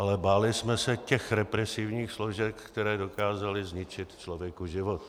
Ale báli jsme se těch represivních složek, které dokázaly zničit člověku život.